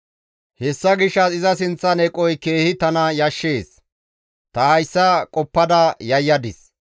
Hessa gishshas iza sinththan eqoy keehi tana keehi yashshees; ta hayssa qoppada yayyadis.